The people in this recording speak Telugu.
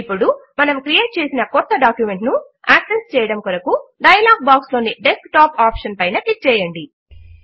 ఇప్పుడు మనము క్రియేట్ చేసిన క్రొత్త డాక్యుమెంట్ ను యాక్సెస్ చేయడము కొరకు డయలాగ్ బాక్స్ లోని డెస్క్టాప్ ఆప్షన్ పైన క్లిక్ చేయండి